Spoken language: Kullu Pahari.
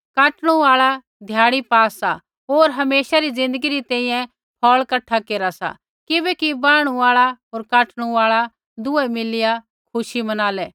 काटणू आल़ा ध्याड़ी पा सा होर हमेशा री ज़िन्दगी री तैंईंयैं फ़ौल़ कठा केरा सा किबैकि वाहणु आल़ा होर काटणू आल़ा दुहे मिलिया खुशी मनालै